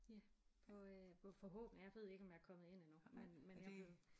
Ja på øh på forhåbentlig jeg ved ikke om jeg er kommet ind endnu men men jeg ved